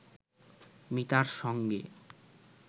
মিতার সঙ্গে